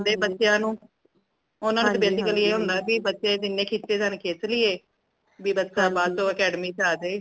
motivate ਕਰ ਲੈਂਦੇ ਬੱਚਿਆਂ ਨੂ ਓਨਾ ਨੂ basically ਏ ਹੁੰਦਾ ਬੀ ਬੱਚੇ ਜਿੰਨੇ ਖਿਚੇ ਜਾਣ ਖਿਚ ਲਈਏ ਬੀ ਬੱਚਾ ਬਾਅਦ ਚ ਅਕੈਡਮੀ ਚ ਆਜੇ